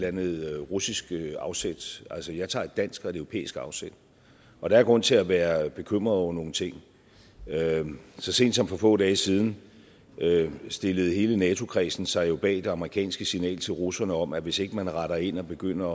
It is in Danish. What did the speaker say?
andet russiske afsæt altså jeg tager et dansk og et europæisk afsæt og der er grund til at være bekymret over nogle ting så sent som for få dage siden stillede hele nato kredsen sig jo bag det amerikanske signal til russerne om at hvis ikke man retter ind og begynder